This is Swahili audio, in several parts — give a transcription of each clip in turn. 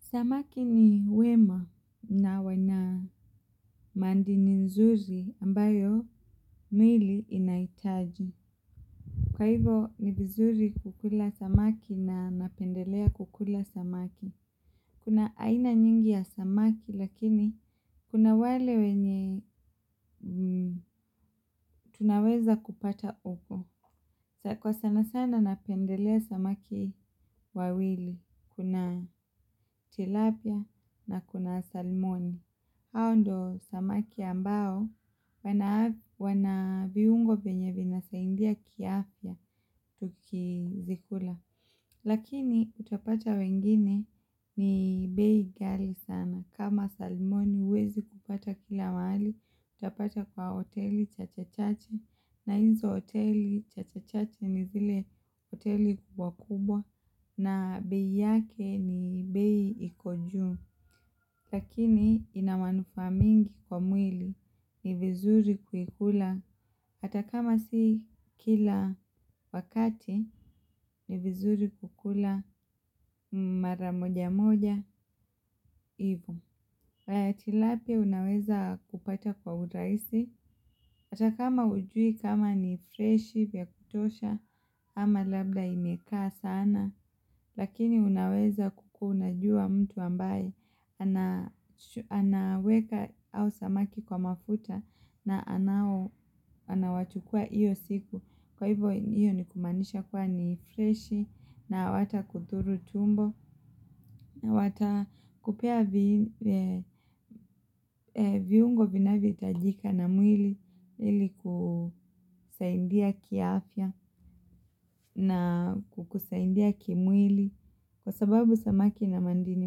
Samaki ni wema na wana madini nzuri ambayo miili inahitaji. Kwa hivyo ni vizuri kukula samaki na napendelea kukula samaki. Kuna aina nyingi ya samaki lakini kuna wale wenye tunaweza kupata huko. Kwa sana sana napendelea samaki wawili. Kuna tilapia na kuna salmoni. Hao ndio samaki ambao wana viungo vyenye vinasaidia kiafya tukizikula. Lakini utapata wengine ni bei ghali sana. Kama salmoni huwezi kupata kila mahali utapata kwa hoteli chache chache na hizo hoteli chache chache ni zile hoteli kubwa kubwa. Na bei yake ni bei iko juu. Lakini ina manufaa mengi kwa mwili ni vizuri kuikula hata kama si kila wakati ni vizuri kukula mara moja moja ivo. Tilapia unaweza kupata kwa urahisi, hata kama hujui kama ni freshi vya kutosha ama labda imekaa sana, lakini unaweza kukuwa unajua mtu ambaye anaweka hao samaki kwa mafuta na anawachukua hiyo siku. Kwa hivyo hiyo ni kumaanisha kuwa ni freshi na hawatakudhuru tumbo na watakupea viungo vinavyohitajika na mwili ili kusaidia kiafya na kusaidia kimwili kwa sababu samaki ina madini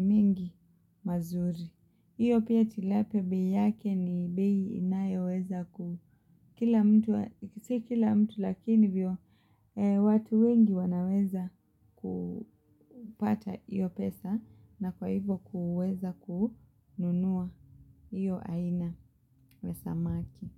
mingi mazuri. Hiyo pia tilapia bei yake ni bei inayoweza si kila mtu lakini vyo watu wengi wanaweza kupata hiyo pesa na kwa hivyo kuweza kununua hiyo aina wa samaki.